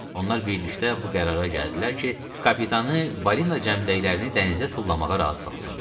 Onlar birlikdə bu qərara gəldilər ki, kapitanı balina cəmdəklərini dənizə tullamağa razı salsınlar.